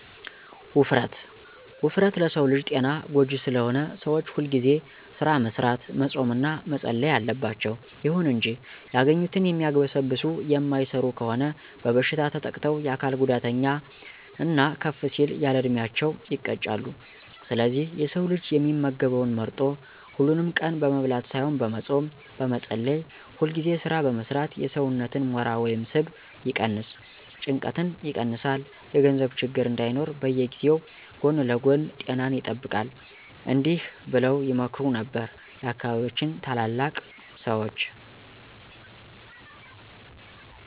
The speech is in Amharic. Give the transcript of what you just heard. ውፍረት፦ ውፍረት ለሰው ልጅ ጤና ጎጂ ስለሆነ ሰዎች ሁልጊዜ ስራ መስራት፣ መፆም እና መፀለይ አለባቸው። ይሁን እንጂ ያገኙትን የሚያግበሰብሱ የማይሰሩ ከሆኑ በበሽታ ተጠቅተው የአካል ጉዳተኛ እና ከፍ ሲል ያለዕድሜያቸው ይቀጫሉ። ስለዚህ የሰው ልጅ የሚመገበውን መርጦ፣ ሀሉንም ቀን በመብላት ሳይሆን በመፆም፣ በመፀለይ፣ ሁልጊዜ ስራ በመስራት የሰውነትን ሞራ ወይም ስብ ይቀነስ፣ ጭንቀትን ይቀንሳል፣ የገንዘብ ችግር እንዳይኖር በዚያዉ ጎን ለጎን ጤናን ይጠብቃል። እዲህ በለዉ ይመክሩ ነበር የአካባቢያችን ታላላቅ ሰዎች።